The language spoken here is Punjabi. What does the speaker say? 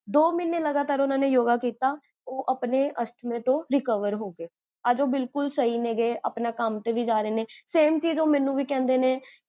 ਦੋ ਮਹੀਨੇ ਲਗਾਤਾਰ, ਓਨ੍ਨਾ ਨੇ yoga ਕੀਤਾ, ਓਹ ਆਪਣੇ ਅਸ੍ਥ੍ਮੇ ਤੋਂ recover ਹੋਗਏ ਅੱਜ ਓਹੋ ਬਿਲਕੁਲ ਸਹੀ ਨੇ ਗੇ, ਆਪਣਾ ਕਮ ਤੇ ਵੀ ਜਾਰੇ ਨੇ ਗੇ, same ਚੀਜ਼ ਓਹ ਮੇਨੂ ਵੀ ਕਹੰਦੇ ਨੇ